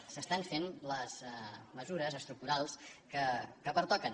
per tant s’estan fent les mesures estructurals que pertoquen